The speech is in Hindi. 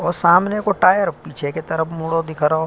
और सामने को टायर पीछे की तरफ मुड़ो दिख रहो।